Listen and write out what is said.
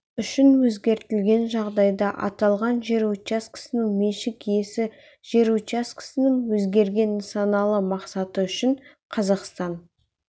үшін өзгертілген жағдайда аталған жер учаскесінің меншік иесі жер учаскесінің өзгерген нысаналы мақсаты үшін қазақстан